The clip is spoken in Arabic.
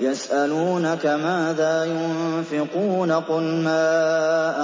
يَسْأَلُونَكَ مَاذَا يُنفِقُونَ ۖ قُلْ مَا